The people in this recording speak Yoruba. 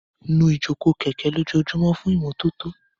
Nu ìjókòó kẹ̀kẹ́ lójoojúmọ́ fún ìmọ́tótó.